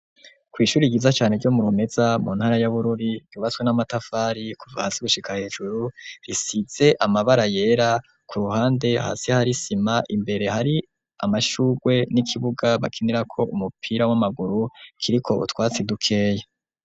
Ku ishuri ryiza cane ryo mu Rumeza mu ntara ya Bururi ryubatswe n'amatafari kuva hasi gushika hejuru risize amabara yera ku ruhande hasi hari isima imbere hari amashurwe n'ikibuga bakinirako umupira w'amaguru kiriko utwatsi dukeya.